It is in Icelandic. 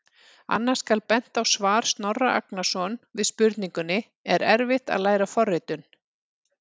Annars skal bent á svar Snorra Agnarsson við spurningunni: Er erfitt að læra forritun?